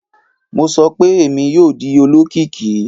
Mo sọ pe Emi yoo di olokiki!